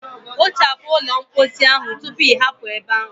Kpochapu ụlọ mposi ahụ tupu ị hapụ ebe ahụ.